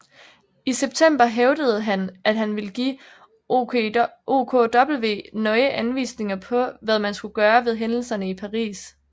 I september hævdede hanm at han ville give OKW nøje anvisninger på hvad man skulle gøre ved hændelserne i Paris